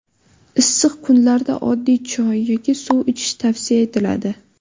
Issiq kunlarda oddiy choy yoki suv ichish tavsiya etiladi.